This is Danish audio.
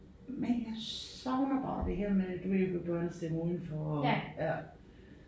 Men jeg savner bare det her med du ved børnestemmer udenfor og ja